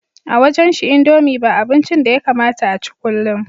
A wajenshi indomie ba abincin da yakamata a ci kullum